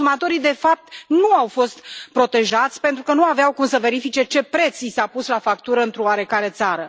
Consumatorii, de fapt, nu au fost protejați, pentru că nu aveau cum să verifice ce preț li s a pus la factură într o oarecare țară.